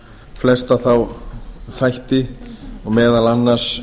flesta þá þætti og meðal annars